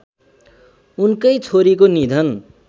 उनकै छोरीको निधन